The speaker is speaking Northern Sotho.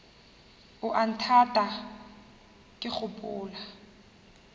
o a nthata ke gopola